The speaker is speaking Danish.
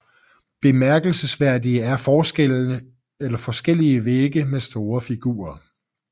Bemærkelsesværdige er forskellige vægge med store figurer